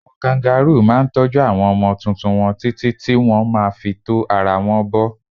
Àwọn káǹgàroò máa ń tọ́jú àwọn ọmọ tuntun wọn títí tí wọn má fi tó ara wọn bo.